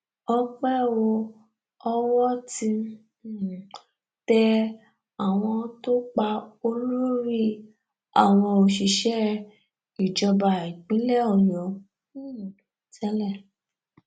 ọpẹ o owó ti um tẹ àwọn tó pa olórí àwọn òṣìṣẹ ìjọba ìpínlẹ ọyọ um tẹlẹ